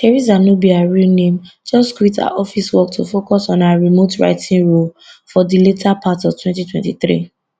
theresa no be her real name just quit her office work to focus on her remote writing role for di later part of 2023